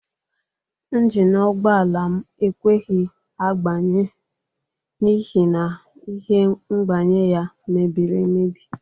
Njini ụgbọala m ekweghi agbanye n'ihi na ihe mgbanye ya mebiri emebi.